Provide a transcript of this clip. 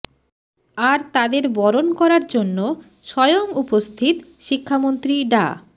আর তাদের বরণ করার জন্য স্বয়ং উপস্থিত শিক্ষামন্ত্রী ডা